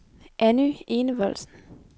Anny Enevoldsen